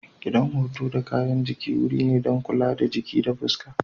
Gidan huto da gyaran jiki wuri ne don kula da jiki da fuska.